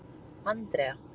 Andrea